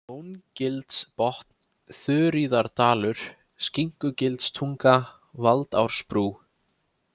Nóngilsbotn, Þuríðardalur, Skinnugilstunga, Valdarásbrú